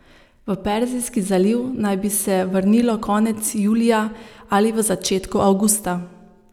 V Perzijski zaliv naj bi se vrnilo konec julija ali v začetku avgusta.